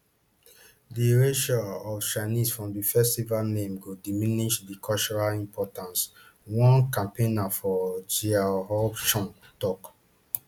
di [erasure] of chinese from di festival name go diminish di cultural importance one campaigner for xiaohongshu tok